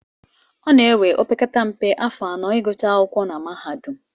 Ọ na-ewe opekata mpe, afọ anọ ịgụcha akwụkwọ na mahadum